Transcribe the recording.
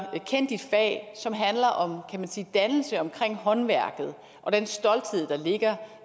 som handler om dannelse omkring håndværket og den stolthed der ligger